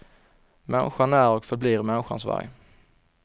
Människan är och förblir människans varg.